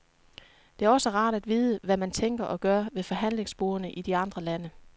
Det er også rart at vide, hvad man tænker og gør ved forhandlingsbordene i de andre lande.